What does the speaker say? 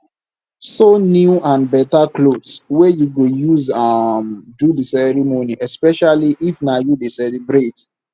sew new and better clothes wey you go use um do di ceremony especially if na you de celebrate